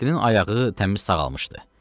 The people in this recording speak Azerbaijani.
Nurəddinin ayağı təmiz sağalmışdı.